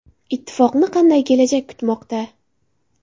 Ittifoqni qanday kelajak kutmoqda?